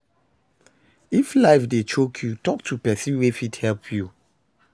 If life dey choke yu talk to pesin wey fit help yu